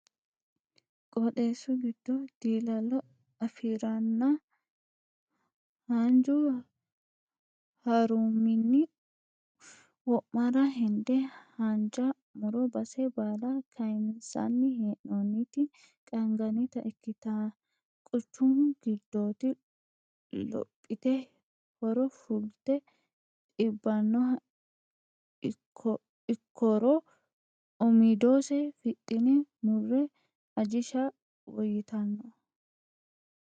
Qooxxeesu qiidado dilalo afiraranna haanju harumini wo'mara hende haanja muro base baalla kayinsanni hee'nonniti qaangannitta ikkitta quchumu giddoti lophite horo fulte dibbanoha ikkoro umidose fifixine mure ajisha woyyittano.